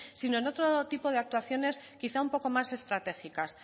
sino en otro tipo de actuaciones quizá un poco más estratégicas